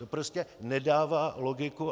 To prostě nedává logiku.